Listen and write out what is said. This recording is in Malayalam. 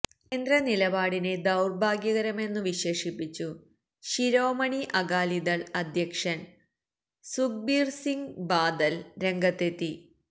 കേന്ദ്ര നിലപാടിനെ ദൌർഭാഗ്യകരമെന്നു വിശേഷിപ്പിച്ചു ശിരോമണി അകാലിദൾ അധ്യക്ഷൻ സുഖ്ബീർ സിങ് ബാദൽ രംഗത്തെത്തി